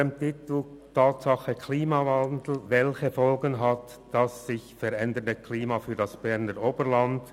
Unter dem Titel «Tatsache Klimawandel – Welche Folgen hat das sich verändernde Klima für das Berner Oberland?